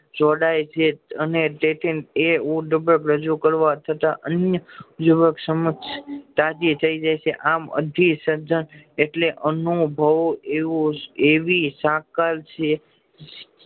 જો ડાય છે અને તેથી એ રજુ કરવા છતાં આમ અર્ધું શ્રધા એટલે અનુભવ એવું એવી સકલ છે